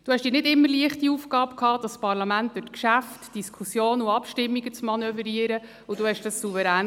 Sie hatten die nicht immer einfache Aufgabe, das Parlament durch die Geschäfte, Diskussionen und Abstimmungen zu manövrieren, und meisterten dies souverän.